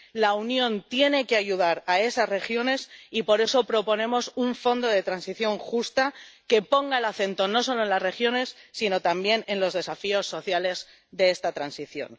La Unión tiene que ayudar a esas regiones y, por eso, proponemos un fondo de transición justo que ponga el acento no solo en las regiones, sino también en los desafíos sociales de esta transición.